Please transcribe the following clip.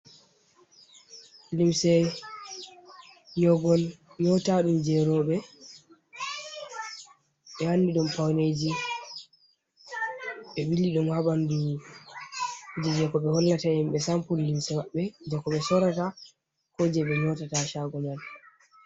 Limse nyoogol nyootaɗum jey rowɓe, ɓe wanni ɗum pawneeji. Ɓe ɓili ɗum haa ɓanndu, jey ko ɓe hollata himɓe sampul limse maɓɓe, jey ko ɓe soorata, ko jey ɓe nyootata caago may.